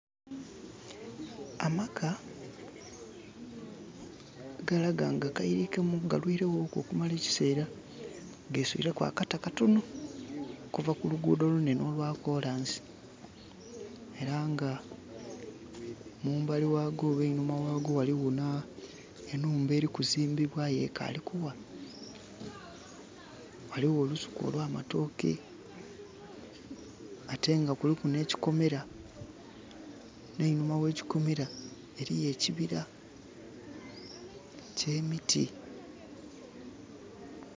Amaka galaga nga gayirikemuku galwirewoku okumala ekiseera geswireku akata katono okuva kuluugudo olunene olwa kolansi era nga mumbali wago oba einhuma wago waliwo enhumba elikuzimbibwa aye ekali okuwa. Waliwo olusuku olwa matooke ate nga kuliku ne kikomera neinhuma wekikomera eriyo ekibira kye miti